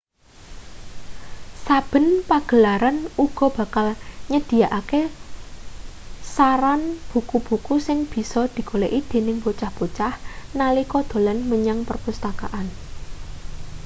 saben pagelaran uga bakal nyedhiyakake saran buku-buku sing bisa digoleki dening bocah-bocah nalika dolan menyang perpustakaan